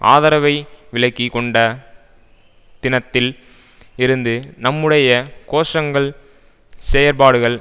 ஆதரவை விலக்கி கொண்ட தினத்தில் இருந்து நம்முடைய கோஷங்கள் செயற்பாடுகள்